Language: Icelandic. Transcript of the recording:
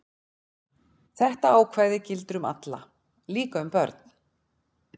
Þetta ákvæði gildir um alla, líka um börn.